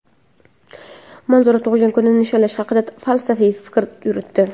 Manzura tug‘ilgan kunni nishonlash haqida falsafiy fikr yuritdi.